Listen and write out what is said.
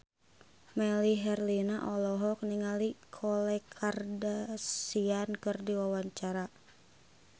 Melly Herlina olohok ningali Khloe Kardashian keur diwawancara